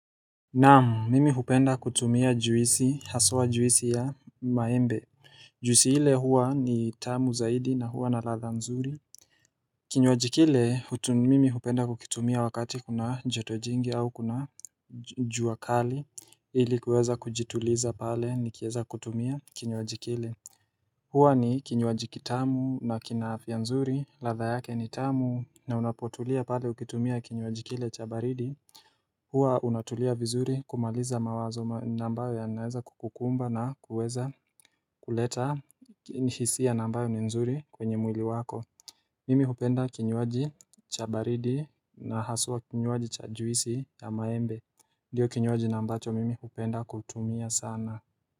Naam, mimi hupenda kutumia juisi, haswa juisi ya maembe. Juisi ile huwa ni tamu zaidi na huwa na ladha nzuri. Kinywaji kile, mimi hupenda kukitumia wakati kuna joto jingi au kuna jua kali ili kuweza kujituliza pale nikieza kutumia kinywaji kile. Huwa ni kinywaji kitamu na kina afya nzuri, ladha yake ni tamu na unapotulia pale ukitumia kinywaji kile cha baridi. Hua unatulia vizuri kumaliza mawazo na ambayo yanaeza kukumba na kuweza kuleta hisia na ambayo ni nzuri kwenye mwili wako. Mimi hupenda kinywaji cha baridi na haswa kinywaji cha juisi ya maembe. Ndiyo kinywaji na ambacho mimi hupenda kutumia sana.